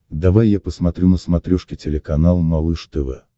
давай я посмотрю на смотрешке телеканал малыш тв